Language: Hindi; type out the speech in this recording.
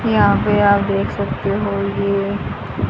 यहां पे आप देख सकते हो ये